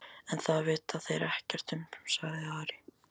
En það vita þeir ekkert um, sagði Ari.